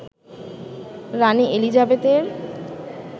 রানি এলিজাবেথের